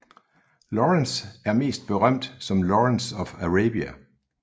Lawrence og mest berømt som Lawrence of Arabia